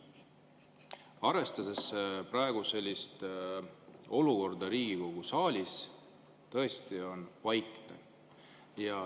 Arvestades praegust olukorda Riigikogu saalis, tõesti on vaikne.